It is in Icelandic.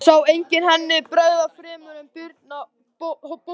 Sá enginn henni bregða fremur en Birni bónda hennar.